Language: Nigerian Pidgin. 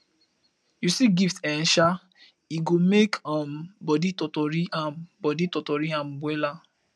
yu see gift eh um e go mek um body totori am body totori am wella